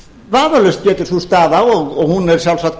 vafalaust getur sú staða og hún er sjálfsagt